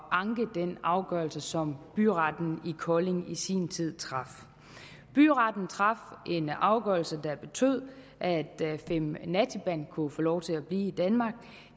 anke den afgørelse som byretten i kolding i sin tid traf byretten traf en afgørelse der betød at fimm na thiban kunne få lov til at blive i danmark